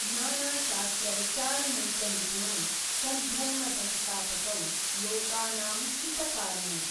ನಾನಾ ಶಾಸ್ತ್ರ ವಿಚಾರಣೈಕ ನಿಪುಣೌ ಸದ್ ಧರ್ಮ ಸಂಸ್ತಾಪಕೌ ಲೋಕಾನಾಂ ಹಿತ ಕಾರಿಣೌ.